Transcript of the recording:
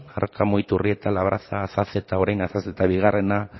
arkamu iturrieta labraza azazeta orain azazeta bigarrena